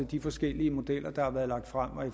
de forskellige modeller der har været lagt frem og